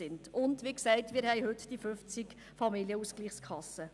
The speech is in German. Wie gesagt gibt es heute 50 Familienausgleichskassen.